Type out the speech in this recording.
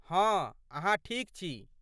हँ, अहाँ ठीक छी।